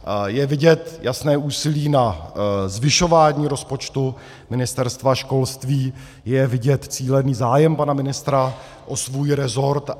Je vidět jasné úsilí na zvyšování rozpočtu Ministerstva školství, je vidět cílený zájem pana ministra o svůj rezort.